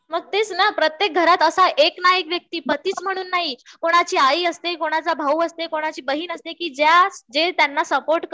मग तेच ना प्रत्येक घरात असा एक ना एक व्यक्ती पतीचं म्हणून नाही कुणाची आई असते, कुणाचा भाऊ असते, कुणाची बहीण असते कि जे त्यांना सपोर्ट करतात.